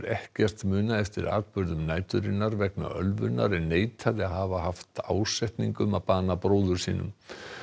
ekkert muna eftir atburðum næturinnar vegna ölvunar en neitaði að hafa haft ásetning um að bana bróður sínum